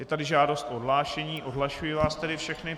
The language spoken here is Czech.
Je tady žádost o odhlášení, odhlašuji vás tedy všechny.